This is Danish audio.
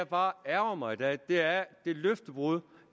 bare ærgrer mig i dag er er det løftebrud